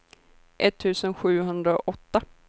etttusen sjuhundraåtta